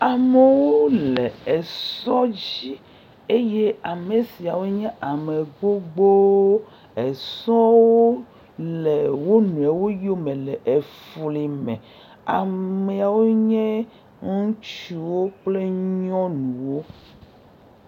Amewo le esɔ dzi, eye ame siawo nye ame gbogbowo, esɔwo le wo nɔewo yome le efli me, amewo nye ŋutsuwo kple nyɔnuwo.